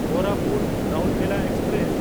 ᱠᱳᱨᱟᱯᱩᱴ–ᱨᱟᱣᱩᱨᱠᱮᱞᱟ express